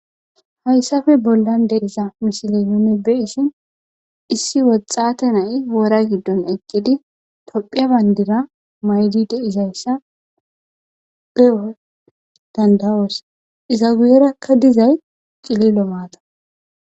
hayssafe bollan de iza misile yunibe issin issi woxxate nay woora giddon eqqidi tophiya bayndira maydide izayssa beo dandawoos iza wuyerakka dizay cililo maata